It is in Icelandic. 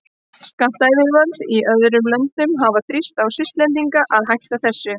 Skattyfirvöld í öðrum löndum hafa þrýst á Svisslendinga að hætta þessu.